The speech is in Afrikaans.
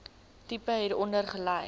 tipe hieronder gelys